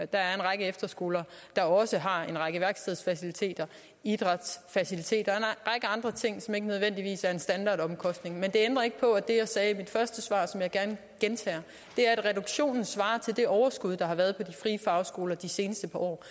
der er en række efterskoler der også har en række værkstedsfaciliteter idrætsfaciliteter og en andre ting som ikke nødvendigvis er en standardomkostning men det ændrer ikke på at det jeg sagde i mit første svar og som jeg gerne gentager er at reduktionen svarer til det overskud der har været på de frie fagskoler de seneste par år